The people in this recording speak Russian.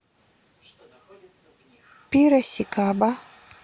пирасикаба